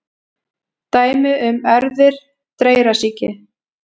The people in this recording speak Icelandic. Dæmi um erfðir dreyrasýki: